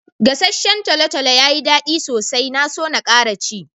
Gassacen tolotolo yayi da daddi sosai. Na so n'kara ci.